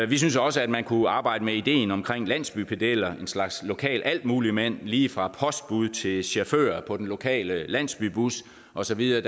vi synes også at man kunne arbejde med ideen om landsbypedeller en slags lokal altmuligmand lige fra postbud til chauffør på den lokale landsbybus og så videre